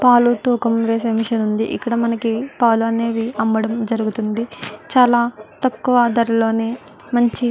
పాలు తూకం వేసే మెషిన్ వుంది ఇక్కడ మనకి పాలు అనేవి అమ్మడం జరుగుతుంది చాల తక్కువ ధరలోనే మంచి --